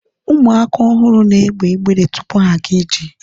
ụmụaka ọhụrụ na egbe ibere tupu ha aga ije